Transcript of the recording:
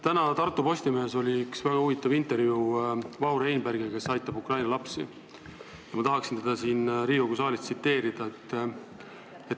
Tänases Tartu Postimehes oli väga huvitav intervjuu Vahur Einbergiga, kes aitab Ukraina lapsi, ja ma tahaksin teda siin Riigikogu saalis tsiteerida.